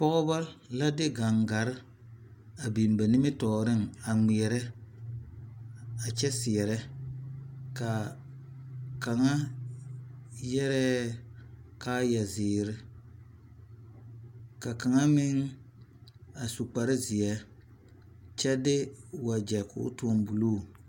pɔgeba la de gangare a biŋ ba nimitɔre a ŋmeɛre a kyɛ seɛre, ka kaŋa yɛre kaayɛ zeɛre ka kaŋa meŋ a su kpare zeɛ kyɛ de wagyɛ kɔ toŋ buluu